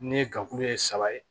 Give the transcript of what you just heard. Ne ye gafe ye saba ye